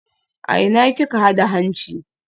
A ina kika huda hanci?